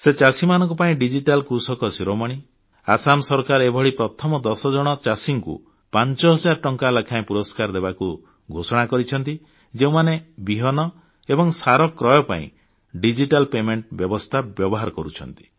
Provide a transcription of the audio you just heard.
ଚାଷୀମାନଙ୍କ ପାଇଁ ଡିଜିଟାଲ କୃଷକ ଶିରୋମଣି ସମ୍ମାନ ସହ ଆସାମ ସରକାର ଏଭଳି ପ୍ରଥମ 10 ଜଣ ଚାଷୀଙ୍କୁ 5 ହଜାର ଟଙ୍କା ଲେଖାଏଁ ପୁରସ୍କାର ଦେବାକୁ ଘୋଷଣା କରିଛନ୍ତି ଯେଉଁମାନେ ବିହନ ଏବଂ ସାର କ୍ରୟ ପାଇଁ ଡିଜିଟାଲ ଦେୟ ପଇଠ ବ୍ୟବସ୍ଥା ବ୍ୟବହାର କରୁଛନ୍ତି